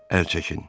Əl çəkin.